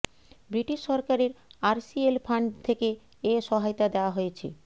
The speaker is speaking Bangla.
ব্রিটিশ সরকারের আরসিএল ফান্ড থেকে এ সহায়তা দেওয়া হয়েছে